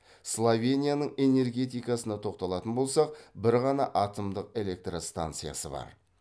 словенияның энергетикасына тоқталатын болсақ бір ғана атомдық электростанциясы бар